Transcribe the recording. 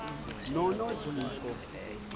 nonojico